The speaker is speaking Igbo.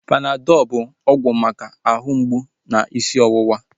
Panadọl bụ ọgwụ maka ahụ mgbụ na isi ọwụwa